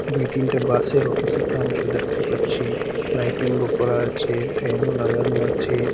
দুই তিনটা বাসেরও কিসুটা অংশ দেখতে পাচ্ছি লাইটিংও করা আছে ফ্যানও লাগানো আছে।